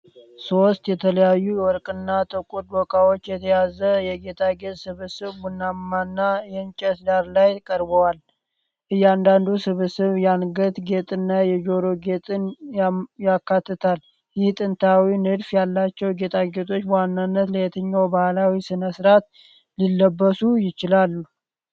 ሶስት የተለያዩ የወርቅና ጥቁር ዶቃዎችን የያዙ የጌጣጌጥ ስብስቦች ቡናማና የእንጨት ዳራ ላይ ቀርበዋል። እያንዳንዱ ስብስብ የአንገት ጌጥና የጆሮ ጌጥን ያካትታል። ይህ ጥንታዊ ንድፍ ያላቸው ጌጣጌጦች በዋናነት ለየትኛው ባህላዊ ሥነ ሥርዓት ሊለበሱ ይችላሉ?